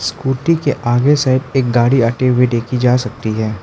Scooty के आगे से एक गाड़ी आते हुए देखी जा सकती है।